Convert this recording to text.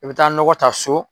I bɛ taa nɔgɔ ta so